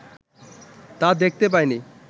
তা দেখতে পায় নি